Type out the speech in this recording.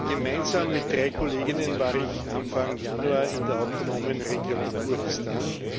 Gemeinsam mit drei Kolleginnen war ich Anfang Januar in der Autonomen Region Kurdistan.